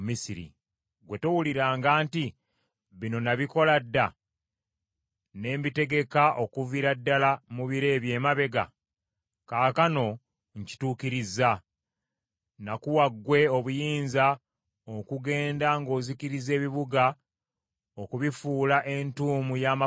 “Tewawulira nga nakisalawo dda? Nakiteekateeka dda. Mu biro eby’edda nakiteekateeka; era kaakano nkituukirizza, olyoke ofuule ebibuga ebiriko bbugwe okuba ng’entuumo y’amayinja.